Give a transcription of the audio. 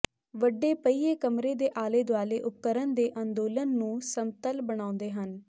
ਵੱਡੇ ਪਹੀਏ ਕਮਰੇ ਦੇ ਆਲੇ ਦੁਆਲੇ ਉਪਕਰਣ ਦੇ ਅੰਦੋਲਨ ਨੂੰ ਸਮਤਲ ਬਣਾਉਂਦੇ ਹਨ